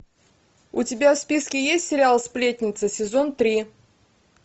у тебя в списке есть сериал сплетница сезон три